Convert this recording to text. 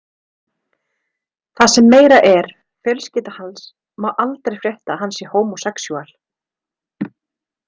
Það sem meira er, fjölskylda hans má aldrei frétta að hann sé homosexual.